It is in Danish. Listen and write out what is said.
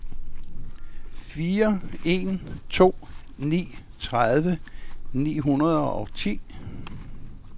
fire en to ni tredive ni hundrede og ni